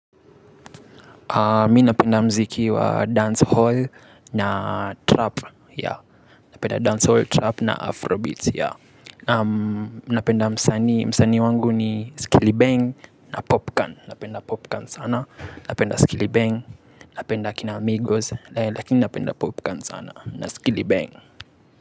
Mi napenda muziki wa dancehall na trap, napenda dancehall, trap na afrobeat, napenda msanii, msanii wangu ni skili bang na popcorn, napenda popcorn sana, napenda skili bang, napenda kina amigos, lakini napenda popcorn sana, napenda skili bang.